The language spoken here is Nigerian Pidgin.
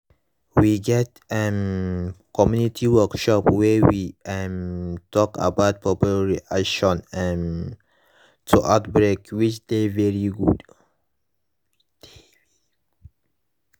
we get um community workshop wey we um talk about public reaction um to outbreak which dey very good